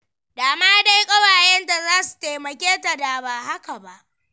Da ma dai ƙawayenta za su taimake ta da ba haka ba.